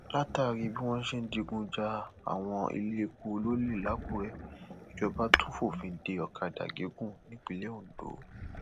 látàrí bí wọn ṣe ń digun ja àwọn iléepo lọlẹ làkùrẹ ìjọba tún fòfin dé ọkadà gígùn nípìnlẹ ondo